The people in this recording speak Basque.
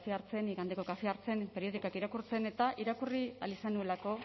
kafea hartzen igandeko kafea hartzen periodikoak irakurtzen eta irakurri ahal izan nuelako